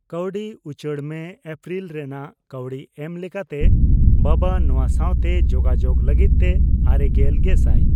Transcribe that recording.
ᱠᱟᱣᱰᱤ ᱩᱪᱟᱹᱲ ᱢᱮ ᱮᱯᱨᱤᱞ ᱨᱮᱱᱟᱜ ᱠᱟᱹᱣᱰᱤ ᱮᱢ ᱞᱮᱠᱟᱛᱮ ᱵᱟᱵᱟ ᱱᱚᱣᱟ ᱥᱟᱣᱛᱮ ᱡᱚᱜᱟᱡᱳᱜᱽ ᱞᱟᱹᱜᱤᱫᱛᱮ ᱟᱨᱮᱜᱮᱞ ᱜᱮᱥᱟᱭ